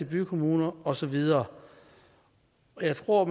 bykommuner og så videre og jeg tror